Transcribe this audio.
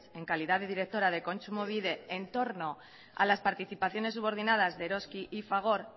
en calidad de directora de kontsumobide en torno a las participaciones subordinadas de eroski y fagor